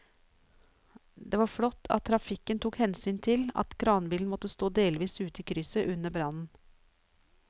Det var flott at trafikken tok hensyn til at kranbilen måtte stå delvis ute i krysset under brannen.